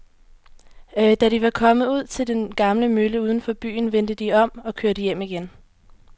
Da de var kommet ud til den gamle mølle uden for byen, vendte de om og kørte hjem igen.